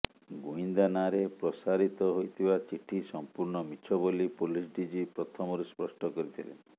ଗୁଇନ୍ଦା ନାଁରେ ପ୍ରସାରିତ ହୋଇଥିବା ଚିଠି ସଂପୂର୍ଣ୍ଣ ମିଛ ବୋଲି ପୋଲିସ ଡ଼ିଜି ପ୍ରଥମରୁ ସ୍ଫଷ୍ଟ କରିଥିଲେ